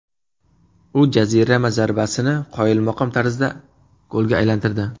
U jarima zarbasini qoyilmaqom tarzda golga aylantirdi.